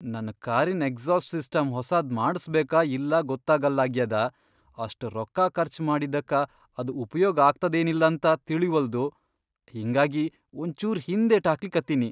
ನನ್ ಕಾರಿನ್ exhaust system ಹೊಸಾದ್ ಮಾಡ್ಸಬೇಕಾ ಇಲ್ಲಾ ಗೊತ್ತಾಗಲ್ಲಾಗ್ಯಾದ, ಅಷ್ಟ್ ರೊಕ್ಕಾ ಖರ್ಚ್ ಮಾಡಿದ್ದಕ್ಕ ಅದ್ ಉಪಯೋಗ್ ಆಗ್ತದೇನಿಲ್ಲಂತ ತಿಳಿವಲ್ದು ಹಿಂಗಾಗಿ ಒಂಚೂರ್ ಹಿಂದೇಟ್ಹಾಕ್ಲಿಕತ್ತಿನಿ.